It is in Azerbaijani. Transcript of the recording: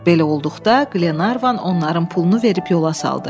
Belə olduqda, Qlenarvan onların pulunu verib yola saldı.